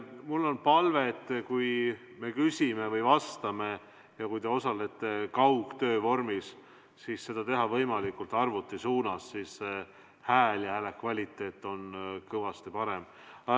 Mul on palve, et kui te küsite või vastate ja osalete kaugtöö vormis, siis rääkige võimalikult arvuti suunas, sest siis on hääle kvaliteet kõvasti parem.